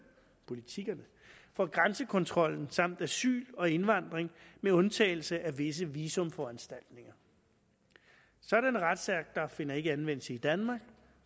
politikkerne for grænsekontrollen samt asyl og indvandring med undtagelse af visse visumforanstaltninger sådanne retsakter finder ikke anvendelse i danmark